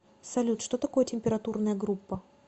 салют что такое температурная группа